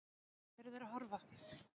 Á hvað eru þeir að horfa?